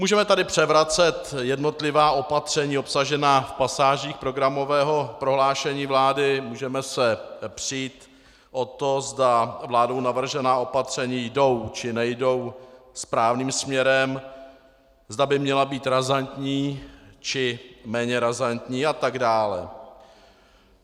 Můžeme tady převracet jednotlivá opatření obsažená v pasážích programového prohlášení vlády, můžeme se přít o to, zda vládou navržená opatření jdou, či nejdou správným směrem, zda by měla být razantní, či méně razantní a tak dále.